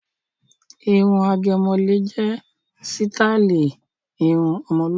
Irun àgẹ̀mọ́lẹ̀ jẹ́ sítáálì irun ọmọlúàbí.